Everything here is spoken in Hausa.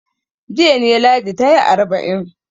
Jiya ne Ladi ta yi arba'in.